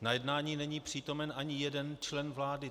Na jednání není přítomen ani jeden člen vlády.